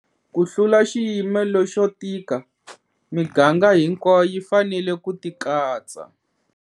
Ku hlula xiyimo lexo tika, miganga hinkwayo yi fanele ku tikatsa.